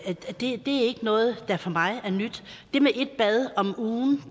noget der for mig er nyt det med et bad om ugen